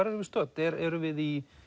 erum við stödd erum við í